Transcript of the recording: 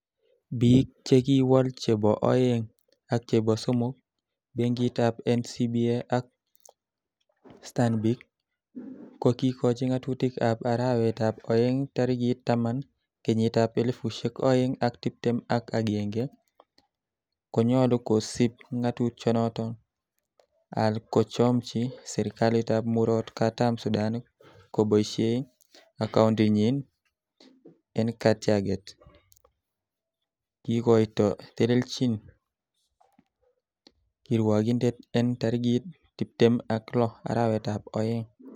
Bik che kiwol che bo oeng ak chebo somok, Benkitab NCBA ak Stanbic, ko kikochi ngatutik ab arawetab oeng tarigit taman, kenyitab elfusiek oeng ak tibtem ak agenge, konyolu kosiib ngatutichoton al kochomchi serkalitab Murot katam Sudan koboishie acoundinyin en katyaget, kikoito tilenyin kirwokindet en tarigit tibtem ak loo arawetab oeng.